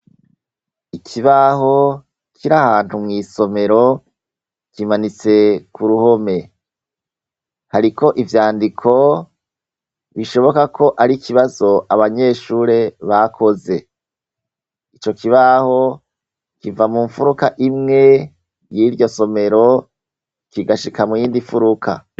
Ikibaho kiri ahantu mw' isomero kimanitse ku ruhome. Hariko ivyandiko bishoboka ko ari ikibazo abanyeshure bakoze. Ico kibaho kiva mu mfuruka imwe y'iryo somero kigashika mu yindi mfuruka.